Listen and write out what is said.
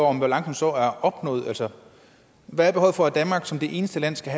om balancen så er opnået hvad er behovet for at danmark som det eneste land skal